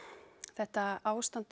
þetta ástand